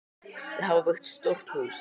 Þau hafa byggt stórt hús.